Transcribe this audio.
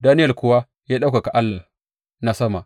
Daniyel kuwa ya ɗaukaka Allah na sama.